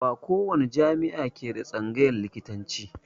Ba ko wani jami'a ke da tsangayan likitanci